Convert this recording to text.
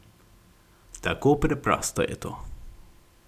Tako preprosto je to.